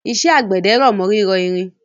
Iṣẹ́ àgbẹ̀dẹ r'ọ̀mọ́ rírọ irin